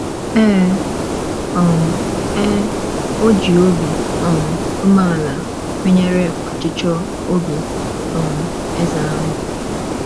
Ee um e, o ji obi um umeala kwenyere ọchịchọ obi um eze ahụ.